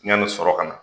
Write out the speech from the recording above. Yanni sɔrɔ ka na